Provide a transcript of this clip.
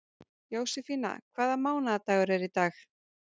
Jósefína, hvaða mánaðardagur er í dag?